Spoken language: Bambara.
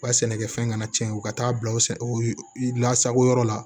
U ka sɛnɛkɛfɛn kana cɛn u ka taa bila o sɛ u lasago yɔrɔ la